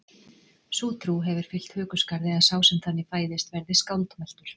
sú trú hefur fylgt hökuskarði að sá sem þannig fæðist verði skáldmæltur